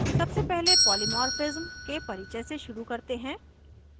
सबसे पहले polymorphism के परिचय से शुरू करते हैं